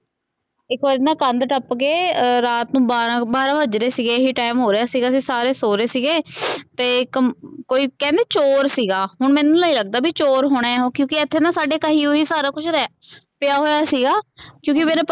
ਇਕ ਵਾਰੀ ਨਾ ਕੰਧ ਟਪਕੇ ਰਾਤ ਨੂ ਬਾਰਾ ਬਾਰਾ ਬਜ ਰਹੇ ਸੀਗੇ ਇਹੀ ਟਾਈਮ ਹੋ ਰਿਹਾ ਸੀਗਾ ਅਸੀਂ ਸਾਰੇ ਸੋ ਰਹੇ ਸੀਗੇ ਤੇ ਕਮ ਕਹਿੰਦੇ ਚੋਰ ਸੀਗਾ ਹੁਣ ਮੈਨੂ ਨੀ ਲਗਦਾ ਵੀ ਚੋਰ ਹੋਣਾ ਹੈ ਓਹ ਕਿਉਂਕਿ ਇਥੇ ਨਾ ਸਾਡੇ ਕਹੀ ਕੋਹੀਆਂ ਸਾਰਾ ਕੁਜ ਪਇਆ ਹੋਇਆ ਸੀਗਾ ਕਿਉਂ ਕੇ ਮੇਰੇ।